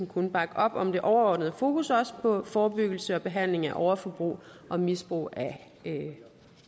kun bakke op om det overordnede fokus også på forebyggelse og behandling af overforbrug og misbrug af